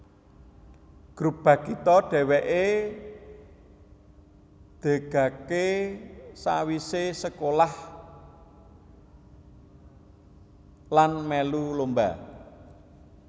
Grup Bagito dheweke degake sawisé sekolah lan mèlu lomba